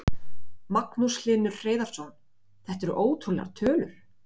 Magnús Hlynur Hreiðarsson: Þetta eru ótrúlegar tölur?